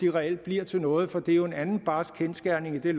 reelt bliver til noget for det er jo en anden barsk kendsgerning i det